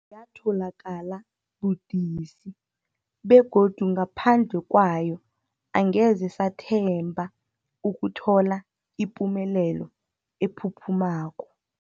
Yatholakala budisi, begodu ngaphandle kwayo angeze sathemba ukuthola ipumelelo ephuphumako.